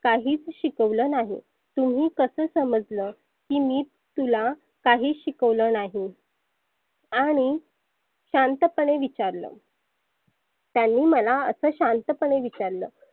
काहीच शिकवल नाही. तुम्ही कसं समजलं? की मी तुला काहीच शिकवलं नाही. आणि शांतपने विचारलं त्यांनी मला असे शांतपने विचारलं.